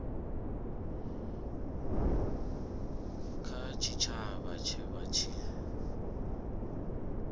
kha tshitshavha tshe vha tshi